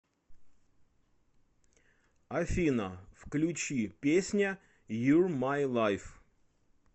афина включи песня юр май лайф